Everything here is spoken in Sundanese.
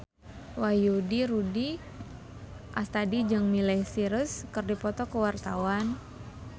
Wahyu Rudi Astadi jeung Miley Cyrus keur dipoto ku wartawan